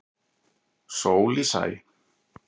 Sól í sæ.